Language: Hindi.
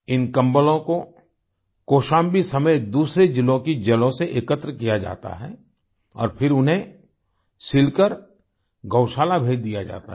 इन कम्बलों को कौशाम्बी समेत दूसरे ज़िलों की जेलों से एकत्र किया जाता है और फिर उन्हें सिलकर गौशाला भेज दिया जाता है